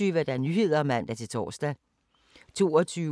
Tirsdag d. 1. august 2017